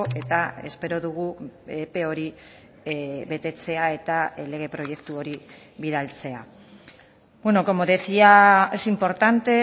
eta espero dugu epe hori betetzea eta lege proiektu hori bidaltzea como decía es importante